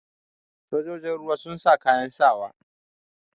Sojojin ruwa sun sa kayan sawa.